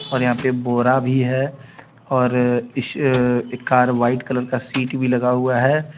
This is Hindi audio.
ओर यहां पे बोरा भी है और इस एक कार व्हाइट कलर का सीट भी लगा हुआ है.